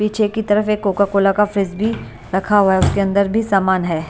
पीछे की तरफ एक कोका कोला का फ्रिज भी रखा हुआ है उसके अंदर भी सामान है।